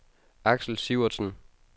Axel Sivertsen